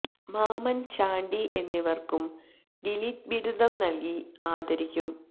മാമന് ചാണ്ടി എന്നിവര്ക്കും D Litt ബിരുദം നല്കി ആദരിക്കും